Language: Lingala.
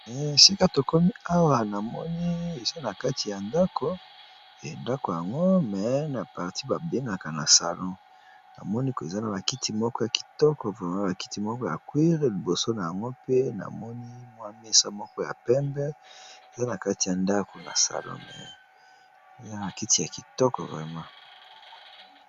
Sika tokomi awa namoni eza na kati ya ndako e ndako yango me na parti babengaka na salon namonieza na bakiti moko ya kitoko vrema bakiti moko ya cuire liboso na yango mpe namoni mwamesa moko ya pembe eza na kati ya ndako nasalmkty kitokomingi.